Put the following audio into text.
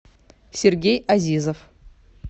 сергей азизов